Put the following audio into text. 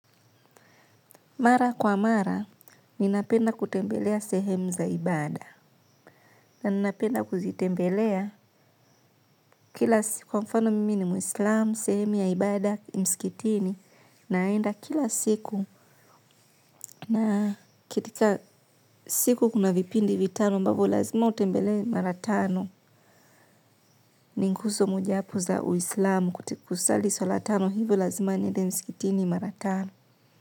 Mara kwa mara, ninapenda kutembelea sehemu za ibaada. Na ninapenda kuzitembelea kwa mfano mimi ni mwislamu, sehemu ya ibada, mskitini, naenda kila siku. Na kitika siku kuna vipindi vitano ambavo lazima utembelee mara tano. Ni nguxo mojawapo za uislamu kutikusali swala tano hivo lazima niende mskitini mara tano.